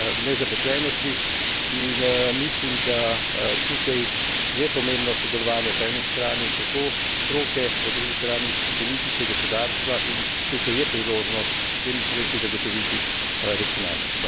nezaposlenosti. In mislim, da tukaj je pomembno sodelovanje, po eni strani tako stroke, po drugi strani politike, gospodarstva, in tukaj je priložnost s temi sredstvi zagotoviti racionalnost.